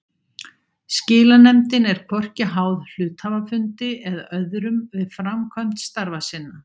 Skilanefndin er hvorki háð hluthafafundi eða öðrum við framkvæmd starfa sinna.